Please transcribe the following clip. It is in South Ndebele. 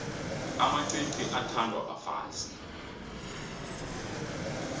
amacici athandwa bafazi